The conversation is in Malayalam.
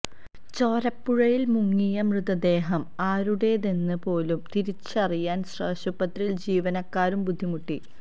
ചോരപ്പുഴയിൽ മുങ്ങിയ മൃതദേഹം ആരുടേതെന്ന് പോലും തിരിച്ചറിയാൻ ആശുപത്രി ജീവനക്കാരും ബുദ്ധിമുട്ടി